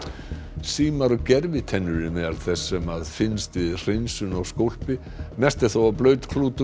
símar og gervitennur eru meðal þess sem finnst við hreinsun á skólpi mest er þó af